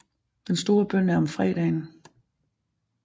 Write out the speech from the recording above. Den store bøn er om fredagen